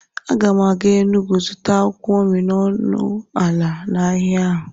Aga m aga Enugwu zụta akwụkwọ nri n'ọnụ ala n'ahịa ha